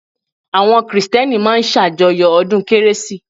Àwọn Krìstẹ́nì máa ń sàjọyọ̀ ọdún kérésì